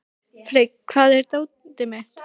Frigg, hvar er dótið mitt?